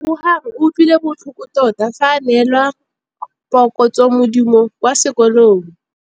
Lebogang o utlwile botlhoko tota fa a neelwa phokotsômaduô kwa sekolong.